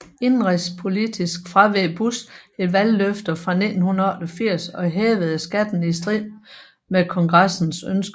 Indenrigspolitisk fraveg Bush et valgløfte fra 1988 og hævede skatterne i strid med Kongressens ønske